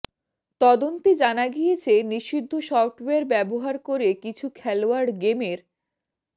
তদন্তে জানা গিয়েছে নিষিদ্ধ সফটওয়্যার ব্যবহার করে কিছু খেলোয়াড় গেমের